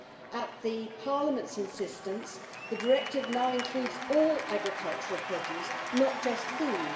At Parliament's insistence, the directive now includes all agricultural produce not just food.